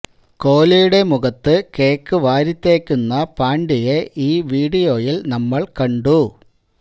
കോലിയുടെ മുഖത്ത് കേക്ക് വാരിത്തേക്കുന്ന പാണ്ഡ്യയെ ഈ വീഡിയോയില് നമ്മള് കണ്ടു